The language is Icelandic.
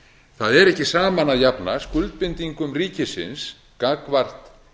það er ekki saman að jafna skuldbindingum ríkisins gagnvart